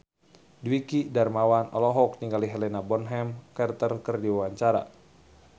Dwiki Darmawan olohok ningali Helena Bonham Carter keur diwawancara